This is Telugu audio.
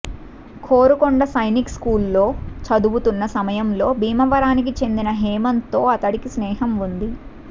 కోరుకొండ సైనిక్స్కూల్లో చదువుతున్న సమయంలో భీమవరానికి చెందిన హేమంత్తో అతడికి స్నేహం ఉంది